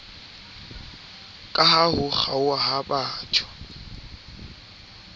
kaha ho kgaoha ha botho